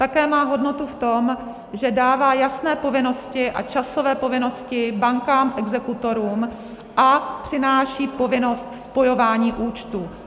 Také má hodnotu v tom, že dává jasné povinnosti a časové povinnosti bankám, exekutorům a přináší povinnost spojování účtů.